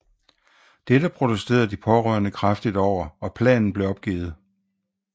Dette protesterede de pårørende kraftigt over og planen blev opgivet